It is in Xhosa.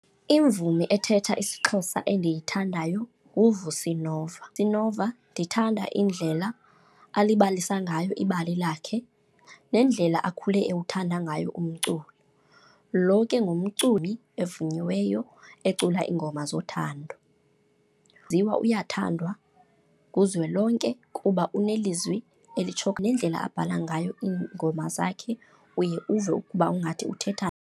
Imvumi ethetha isiXhosa endiyithandayo nguVusi Nova. Vusi Nova ndithanda indlela alibalisa ngayo ibali lakhe nendlela akhule ewuthanda ngayo umculo. Loo ke ngumculi ovunyiweyo, ecula iingoma zothando. Uyaziwa, uyathandwa kuzwelonke kuba unelizwi elitsho, nendlela abhala ngayo iingoma zakhe uye uve ukuba ungathi uthetha.